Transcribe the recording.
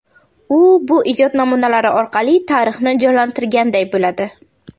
U bu ijod namunalari orqali tarixni jonlantirganday bo‘ladi.